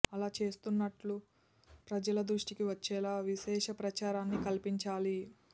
అలా చేస్తున్నట్టు ప్రజల దృష్టికి వచ్చేలా విశేష ప్రచారాన్ని కల్పించాలి